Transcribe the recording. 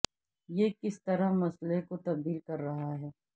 یہ کس طرح مسئلہ کو تبدیل کر رہا ہے